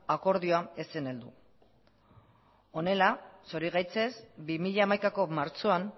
akordioa ez zen heldu honela zorigaitzez bi mila hamaikako martxoan